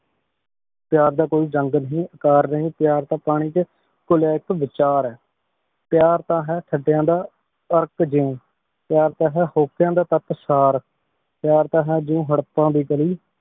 ਪ੍ਯਾਰ ਦਾ ਕੋਈ ਜੰਡ ਨਹੀ ਅੰਕਾਰ ਨਹੀ ਪ੍ਯਾਰ ਤਾਂ ਪਾਣੀ ਚ ਕੁਲ੍ਯਾ ਏਇਕ ਵਿਚਾਰ ਆਯ ਪ੍ਯਾਰ ਤਾਂ ਹੈ ਥਾਦ੍ਯਾਂ ਦਾ ਅਰ੍ਕ਼ ਜੋਨ ਪ੍ਯਾਰ ਤਾਂ ਹੈ ਹੋਕ੍ਯਾਂ ਦਾ ਤਾਕ੍ਸਾਰ ਪ੍ਯਾਰ ਤਾਂ ਹੈ ਜੋ ਹਰਪਾ ਦੀ ਗਾਲੀ